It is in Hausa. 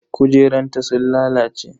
Kujerunta sun lalace.